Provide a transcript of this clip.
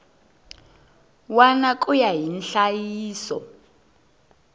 wana ku ya hi nhlayiso